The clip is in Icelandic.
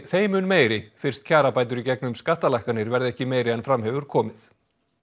þeim mun meiri fyrst kjarabætur í gegnum skattalækkanir verði ekki meiri en fram hefur komið